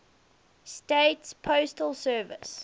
states postal service